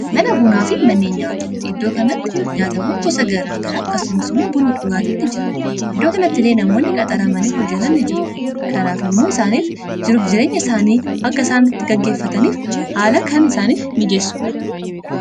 mana bunaa fi mannee nyaata iddoo kanatti nyaata bun gosa garaa garaa akkasumsimmuu buuni dhugaatiini jira iddoo kanatti ilee namoonni qaxaramaniif hojjatanni jiru kanaaf immuo isaaniif jiruf jirenya isaanii akka isaanitti gaggeeffataniif haala kan isaaniif mijeessuudha